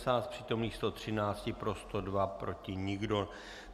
Z přítomných 113 pro 102, proti nikdo.